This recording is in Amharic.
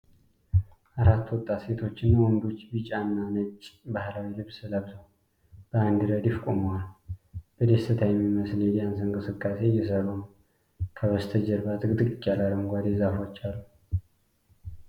አራት ወጣት ሴቶችና ወንዶች ቢጫና ነጭ ባህላዊ ልብስ ለብሰው በአንድ ረድፍ ቆመዋል። በደስታ የሚመስል የዳንስ እንቅስቃሴ እየሠሩ ነው። ከበስተጀርባ ጥቅጥቅ ያለ አረንጓዴ ዛፎች አሉ።